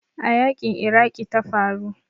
A yanƙin Iraqi ta faru.